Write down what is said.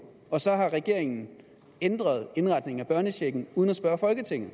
og så har regeringen ændret indretningen af børnechecken uden at spørge folketinget